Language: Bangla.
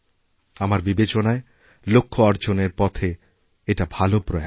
আমার বিবেচনায় লক্ষ্য অর্জনেরপথে এটা ভালো প্রয়াস